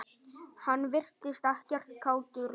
Hann virtist ekkert kátur lengur.